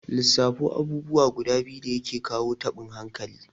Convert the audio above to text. Lissafo abubuwa guda biyu dake kawo taɓin hankali?